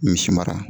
Misi mara